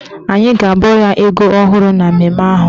Anyị ga-abọ ya ego ọhụrụ na mmemme ahụ.